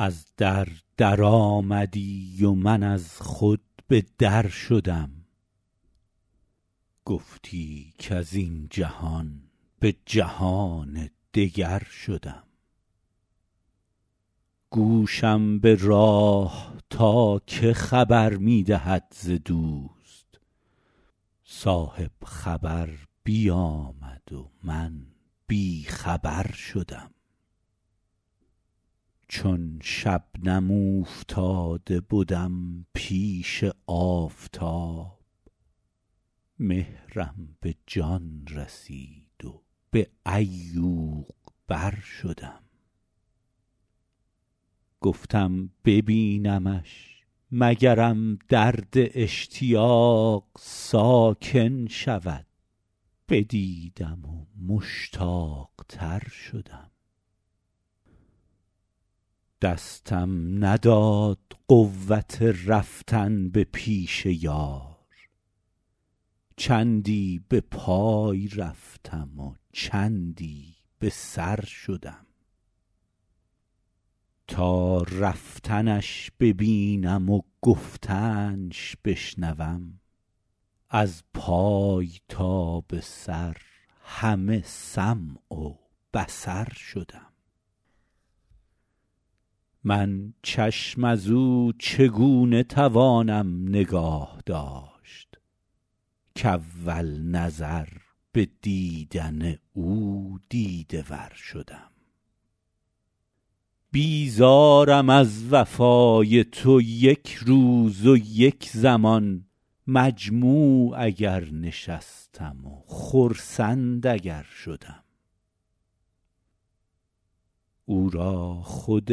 از در درآمدی و من از خود به در شدم گفتی کز این جهان به جهان دگر شدم گوشم به راه تا که خبر می دهد ز دوست صاحب خبر بیامد و من بی خبر شدم چون شبنم اوفتاده بدم پیش آفتاب مهرم به جان رسید و به عیوق بر شدم گفتم ببینمش مگرم درد اشتیاق ساکن شود بدیدم و مشتاق تر شدم دستم نداد قوت رفتن به پیش یار چندی به پای رفتم و چندی به سر شدم تا رفتنش ببینم و گفتنش بشنوم از پای تا به سر همه سمع و بصر شدم من چشم از او چگونه توانم نگاه داشت کاول نظر به دیدن او دیده ور شدم بیزارم از وفای تو یک روز و یک زمان مجموع اگر نشستم و خرسند اگر شدم او را خود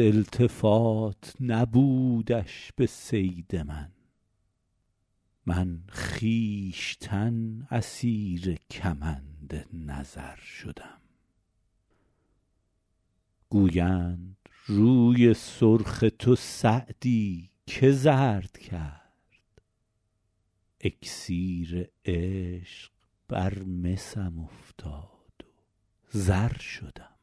التفات نبودش به صید من من خویشتن اسیر کمند نظر شدم گویند روی سرخ تو سعدی چه زرد کرد اکسیر عشق بر مسم افتاد و زر شدم